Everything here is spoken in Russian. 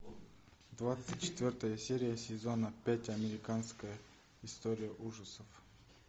двадцать четвертая серия сезона пять американская история ужасов